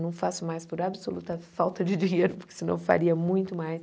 Não faço mais por absoluta falta de dinheiro, porque senão faria muito mais.